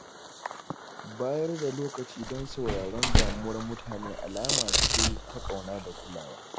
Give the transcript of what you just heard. Bayar da lokaci don sauraron damuwar mutane alama ce ta ƙauna da kulawa.